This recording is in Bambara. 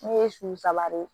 Ne ye su saba de ye